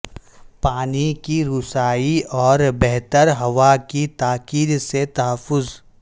پانی کی رسائی اور بہتر ہوا کی تاکید سے تحفظ